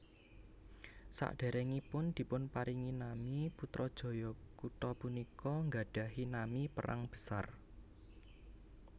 Saderengipun dipunparingi nami Putrajaya kutha punika nggadhahi nami Perang Besar